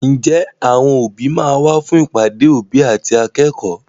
Ǹjẹ́ àwọn òbí máa wá fún ìpàdé òbí àti akẹ́kọ̀ọ́?